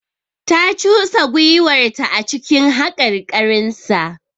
Ta cusa gwiwarta a cikin haƙarƙarinsa.